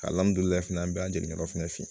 Alihamdullilaye an be an jeninen f'i fin